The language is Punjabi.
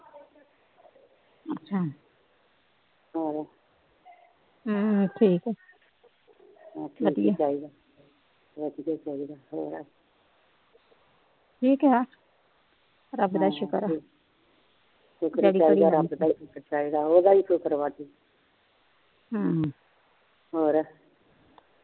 ਚਾਹੀਦਾ ਉਹਦਾ ਹੀ ਸ਼ੁਕਰ ਆ ਜੀ ਹਮ ਹੋਰ